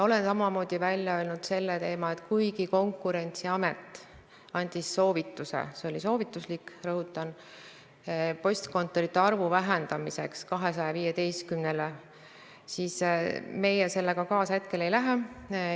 Olen samamoodi välja öelnud selle, et kuigi Konkurentsiamet andis soovituse – rõhutan, see oli soovituslik – vähendada postkontorite arvu 215-le, siis meie sellega hetkel kaasa ei lähe.